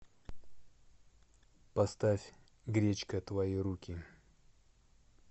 поставь гречка твои руки